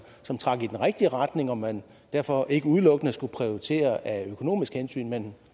som trak i den rigtige retning og man derfor ikke udelukkende skulle prioritere økonomiske hensyn men